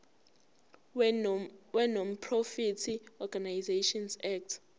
wenonprofit organisations act